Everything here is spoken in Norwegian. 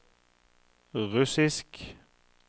russisk